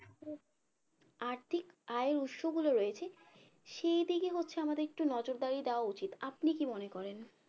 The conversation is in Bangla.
আর ঠিক আয় উৎস গুলো রয়েছে সেই দিকে হচ্ছে আমাদের একটু নজরদারি দেওয়া উচিত আপনি কি মনে করেন